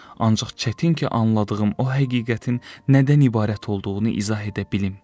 Ancaq çətin ki, anladığım o həqiqətin nədən ibarət olduğunu izah edə bilim.